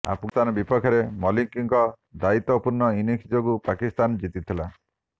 ଆଫ୍ଗାନିସ୍ତାନ ବିପକ୍ଷରେ ମାଲିକ୍ଙ୍କ ଦାୟିତ୍ୱପୂର୍ଣ୍ଣ ଇନିଂସ ଯୋଗୁଁ ପାକିସ୍ତାନ ଜିତିଥିଲା